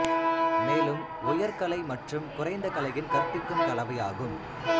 மேலும் உயர் கலை மற்றும் குறைந்த கலையின் கற்பிக்கும் கலவையாகும்